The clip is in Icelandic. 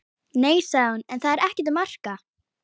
Nei, sagði hún, en það er ekkert að marka.